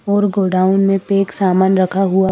और गोडाउन में पैक सामान रखा हुआ--